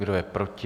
Kdo je proti?